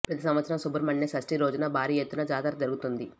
ప్రతి సంవత్సరం సుబ్రహ్మణ్య షష్టి రోజున భారీ ఎత్తున జాతర జరుగుతుంది